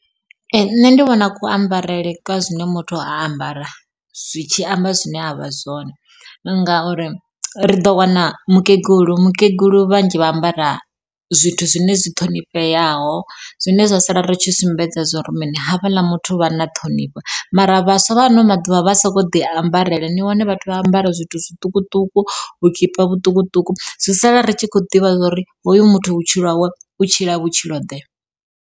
Ee nṋe ndi vhona ku ambarele kwa zwine muthu a ambara zwi tshi amba zwine avha zwone ngauri ri ḓo wana mukegulu, mukegulu vhanzhi vha ambara zwithu zwine zwi ṱhonifheaho zwine zwa sala ri tshi sumbedza zwori mini havhaḽa muthu vha na ṱhonifho. Mara vhaswa vha ano maḓuvha vha soko ḓi ambarele ni wane vhathu vha ambara zwithu zwiṱukuṱuku vhukipa vhuṱukuṱuku, zwi sala ri tshi khou ḓivha uri hoyu muthu vhutshilo hawe u tshila vhutshilo ḓe.